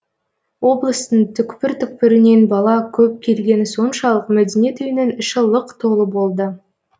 облыстың түпкір түпкірінен бала көп келгені соншалық мәдениет үйінің іші лық толы болды